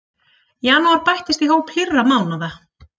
Janúar bættist í hóp hlýrra mánaða